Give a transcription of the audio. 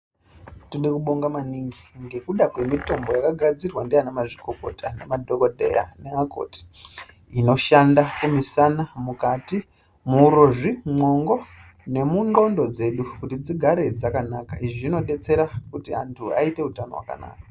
Tode kubonga manhingi ngekuda kwemitombo yakagadzirwa nana mazvikokota, madhokodheya nevakoti, inoshanda kumusana, mwukati, muurozvi , mumwongo nomundxondo dzedu kuti dzigare dzakanaka. Izvi zvinodetsera kuti vantu vaite utano hwakanaka.